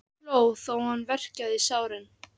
Hann hló þó hann verkjaði í sárin.